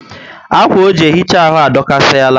Akwa o ji ehicha arụ adokasi ala